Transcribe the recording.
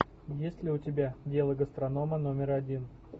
есть ли у тебя дело гастронома номер один